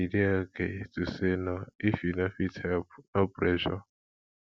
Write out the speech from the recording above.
e dey okay to say no if you no fit help no pressure